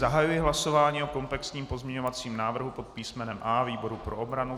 Zahajuji hlasování o komplexním pozměňovacím návrhu pod písmenem A výboru pro obranu.